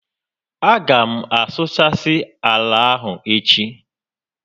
A gá m asụchasị ala ahụ echi